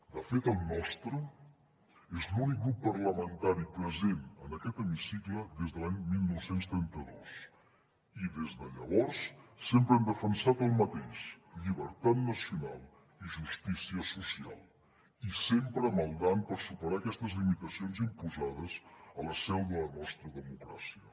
de fet el nostre és l’únic grup parlamentari present en aquest hemicicle des de l’any dinou trenta dos i des de llavors sempre hem defensat el mateix llibertat nacional i justícia social i sempre maldant per superar aquestes limitacions imposades a la seu de la nostra democràcia